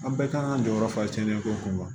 An bɛɛ kan ka jɔyɔrɔ fa tiɲɛ ko kun kan wa